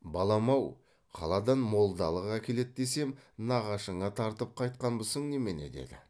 балам ау қаладан молдалық әкеледі десем нағашыңа тартып қайтқанбысың немене деді